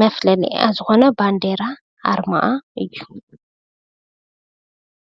ምፍለይኣ ዝኾነ ባንዴራኣ ኣርማኣ እዩ።